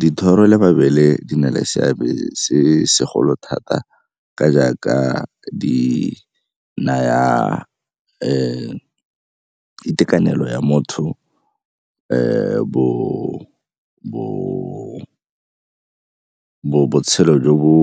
Dithoro le mabele di na le seabe se segolo thata ka jaaka di naya itekanelo ya motho botshelo jo bo